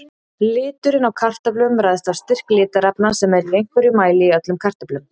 Liturinn á kartöflum ræðst af styrk litarefna sem eru í einhverjum mæli í öllum kartöflum.